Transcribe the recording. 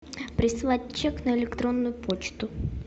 прислать чек на электронную почту